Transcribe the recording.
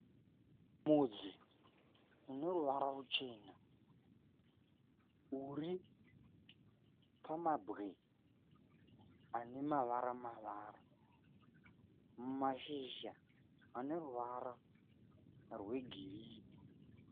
Mudzi une ruvara ruchena uri pamabwe anemavara mavara mashizha anemavara rwegirini